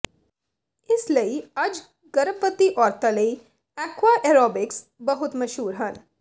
ਇਸ ਲਈ ਅੱਜ ਗਰਭਵਤੀ ਔਰਤਾਂ ਲਈ ਐਕੁਆ ਏਰੋਬਿਕਸ ਬਹੁਤ ਮਸ਼ਹੂਰ ਹਨ